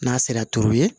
N'a sera turuli ye